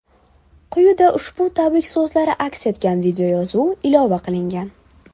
Quyida ushbu tabrik so‘zlari aks etgan videoyozuv ilova qilngan.